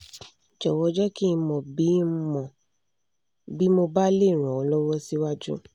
jọ̀wọ́ jẹ́ kí ń mọ̀ bí ń mọ̀ bí mo bá lè ràn ọ́ lọ́wọ́ síwájú